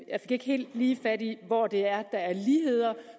ikke helt lige fat i hvor der er ligheder